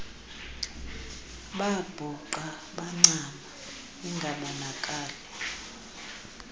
babhuqa bancama ingabonakali